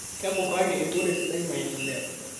Kekurraki erikore sidai maendeleo